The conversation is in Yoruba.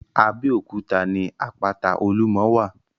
Abẹ́òkúta ní àpáta-olúmọ wà.